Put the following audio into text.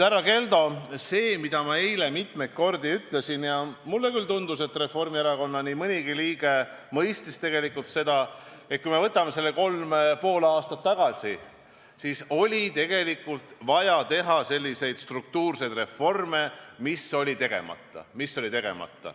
Härra Keldo, ma ütlesin eile mitmeid kordi – ja mulle küll tundus, et nii mõnigi Reformierakonna liige mõistis seda –, et kui me võtame selle kolm ja pool aastat tagasi, siis tookord oli tegelikult vaja teha selliseid struktuurseid reforme, mis olid veel tegemata.